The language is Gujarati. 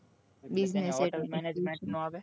business administration